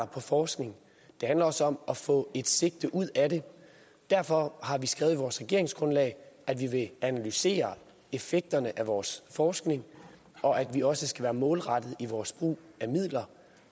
på forskning det handler også om at få et sigte ud af det og derfor har vi skrevet i vores regeringsgrundlag at vi vil analysere effekten af vores forskning og at vi også skal være målrettede i vores brug af midler